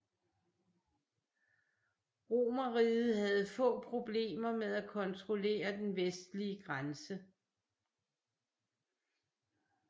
Romerriget havde få problemer med at kontrollere den vestlige grænse